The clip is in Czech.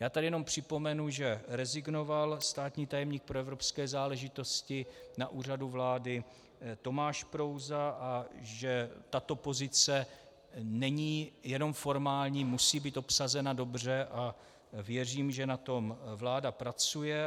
Já tady jenom připomenu, že rezignoval státní tajemník pro evropské záležitosti na Úřadu vlády Tomáš Prouza a že tato pozice není jenom formální, musí být obsazena dobře, a věřím, že na tom vláda pracuje.